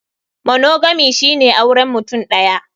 Monogamy shine auren mutum ɗaya.